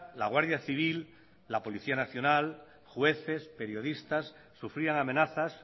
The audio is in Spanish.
la guardia civil la policía nacional jueces periodistas sufrían amenazas